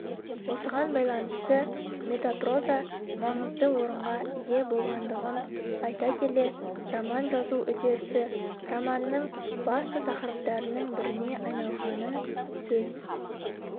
осыған байланысты метапроза маңызды орынға ие болғандығын айта келе роман жазу үдерісі романның басты тақырыптарының біріне айналғанын сөз